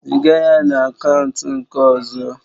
Ziga ya na akaụntụ nke ọzọ